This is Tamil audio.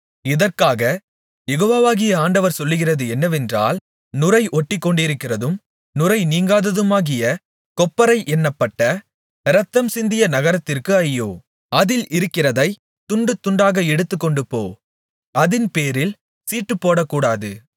இதற்காகக் யெகோவாகிய ஆண்டவர் சொல்லுகிறது என்னவென்றால் நுரை ஒட்டிக்கொண்டிருக்கிறதும் நுரை நீங்காததுமாகிய கொப்பரை என்னப்பட்ட இரத்தம்சிந்திய நகரத்திற்கு ஐயோ அதில் இருக்கிறதைக் துண்டுதுண்டாக எடுத்துக்கொண்டுபோ அதின்பேரில் சீட்டுப்போடகூடாது